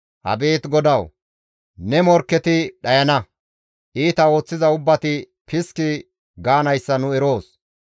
Abeet GODAWU! Ne morkketi dhayana; iita ooththiza ubbati piski gaanayssa nu eroos.